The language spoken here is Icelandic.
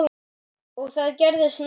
Og það gerðist meira.